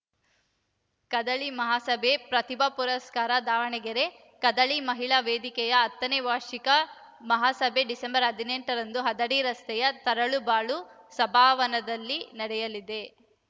ಕದಳಿ ಮಹಾಸಭೆ ಪ್ರತಿಭಾ ಪುರಸ್ಕಾರ ದಾವಣಗೆರೆ ಕದಳಿ ಮಹಿಳಾ ವೇದಿಕೆಯ ಹತ್ತನೇ ವಾರ್ಷಿಕ ಮಹಾಸಭೆ ಡಿಸೆಂಬರ್ ಹದಿನೆಂಟರಂದು ಹದಡಿ ರಸ್ತೆಯ ತರಳುಬಾಳು ಸಭಾಭವನದಲ್ಲಿ ನಡೆಯಲಿದೆ